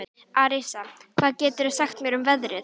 Arisa, hvað geturðu sagt mér um veðrið?